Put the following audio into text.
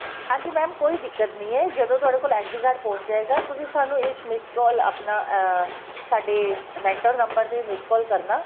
ਹਾਂਜੀ mam ਕੋਈ ਦਿੱਕਤ ਨਹੀਂ ਏ ਜਦੋ ਤੁਹਡੇ ਕੋਲ SD card ਪਹੁੰਚ ਜਾਏਗਾ ਤੁਸੀਂ ਸਾਨੂੰ ਇੱਕ miss call ਆਪਣਾ ਅਹ ਸਾਡੇ mentor number ਤੇ miss call ਕਰਨਾ